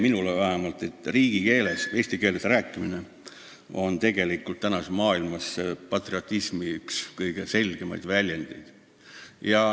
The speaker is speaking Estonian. Minu jaoks on riigikeeles, eesti keeles rääkimine tänases maailmas üks kõige selgemaid patriotismi väljendusi.